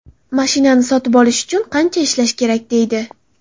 Mashinani sotib olish uchun qancha ishlash kerak”, deydi.